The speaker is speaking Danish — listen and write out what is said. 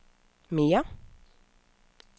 mere